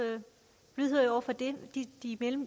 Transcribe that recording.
lydhør over for det de